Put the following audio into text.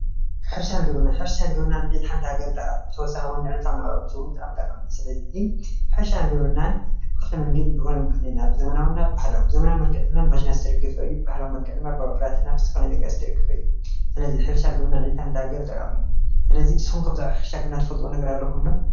ሕርሻን ግብርናን ማለት ባህላውን ዘመናውን ዘጣመረ እንትኸውን ካብ ቀደም ዝጀመረ እንትኸውን ንሓንቲ ዓዲ ዓንዲ ሑቐ እዩ።